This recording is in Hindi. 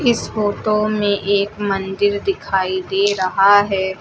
इस फोटो में एक मंदिर दिखाई दे रहा है।